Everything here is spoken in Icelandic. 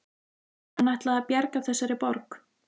Hann ætlaði að bjarga þessari borg